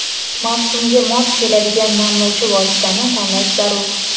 mavsumga mos keladigan namlovchi vositani tanlash zarur.